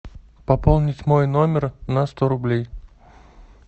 пополнить мой номер на сто рублей